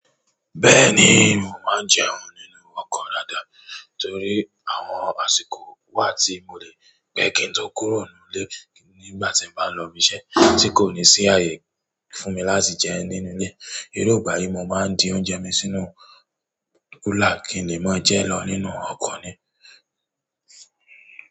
Bẹ́ẹ̀ni, mò máa ń jẹun nínú ọkọ̀ dáadáa torí àwọn àsìkò wà tí mo lè gbé kí n tó kúrò nù ilé nígbà tí n bá ń lọ ibi iṣẹ́ tí kò ní sí ààyè fún mi láti jẹ nínú ilé. Irú ìgbà yìí mo máa ń di oúnjẹ mi sínú kúlà kín le màá jẹ lọ nínú ọkọ̀ ni.